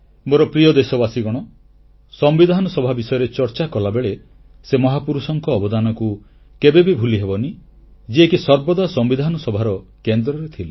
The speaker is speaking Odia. ମୋର ପ୍ରିୟ ଦେଶବାସୀଗଣ ସମ୍ବିଧାନ ସଭା ବିଷୟରେ ଚର୍ଚ୍ଚା କଲାବେଳେ ସେ ମହାପୁରୁଷଙ୍କ ଅବଦାନକୁ କେବେବି ଭୁଲିହେବନି ଯିଏକି ସର୍ବଦା ସମ୍ବିଧାନ ସଭାର କେନ୍ଦ୍ରରେ ଥିଲେ